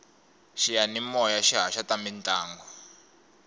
xiyamimoya xi haxa ta mintlangu